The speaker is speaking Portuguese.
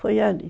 Foi ali.